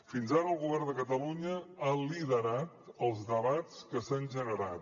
fins ara el govern de catalunya ha liderat els debats que s’han generat